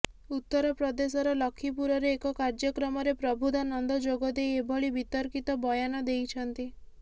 ଉତ୍ତରପ୍ରଦେଶର ଲଖିପୁରରେ ଏକ କାର୍ଯ୍ୟକ୍ରମରେ ପ୍ରବୁଦ୍ଧା ନନ୍ଦ ଯୋଗଦେଇ ଏଭଳି ବିତର୍କିତ ବୟାନ ଦେଇଛନ୍ତି